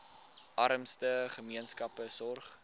armste gemeenskappe sorg